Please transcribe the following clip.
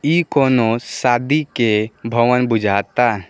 इ कोनो शादी के भवन बुझाता।